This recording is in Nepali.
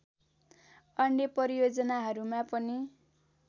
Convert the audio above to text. अन्य परियोजनाहरूमा पनि